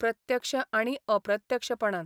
प्रत्यक्ष आनी अप्रत्यक्षपणान.